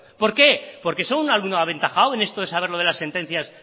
por qué porque son un alumno aventajado en esto de saber lo de las sentencias